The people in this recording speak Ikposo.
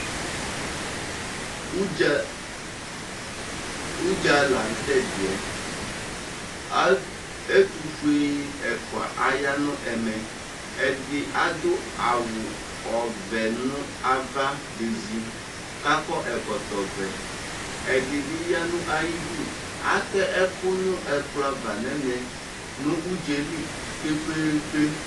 Udza, udza laŋtɛdiɛAtu, ɛtufue ɛfua aya nʋ ɛmɛƐdi adʋ awu ɔvɛ nʋ ava bezi, kakɔ ɛkɔtɔ vɛƐdibi yanʋ ayidu Atɛ ɛkʋ nʋ ɛkplɔ'ava nɛmɛNʋ udzɛli kpekpeekpe